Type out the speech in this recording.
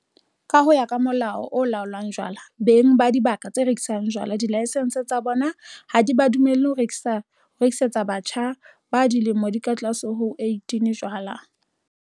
Ka ho ya ka Molao o Laolang Jwala, beng ba dibaka tse rekisang jwala dilaesense tsa bona ha di ba dumelle ho rekisetsa batjha ba dilemo di ka tlase ho tse 18 jwala.